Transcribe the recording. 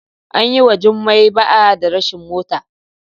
An yi wa Jumai ba'a da rashin mota.